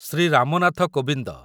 Shri Ram Nath Kovind